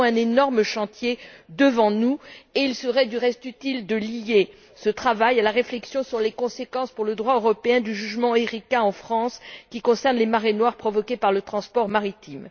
Nous avons un énorme chantier devant nous et il serait, du reste, utile de lier ce travail à la réflexion sur les conséquences pour le droit européen du jugement Erika, en France, qui concerne les marées noires provoquées par le transport maritime.